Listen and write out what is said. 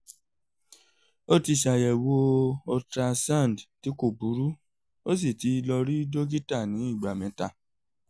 ó ti ṣàyẹ̀wo ultrasound tí kò burú ó sì ti lọ rí dókítà ní ìgbà mẹ́ta